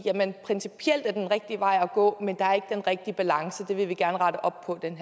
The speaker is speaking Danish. principielt er det den rigtige vej at gå men der er ikke den rigtige balance og det vil vi gerne rette op på den